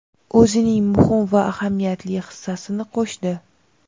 o‘zining muhim va ahamiyatli hissasini qo‘shdi.